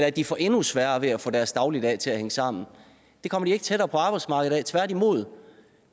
at de får endnu sværere ved at få deres dagligdag til at hænge sammen det kommer de ikke tættere på arbejdsmarkedet af tværtimod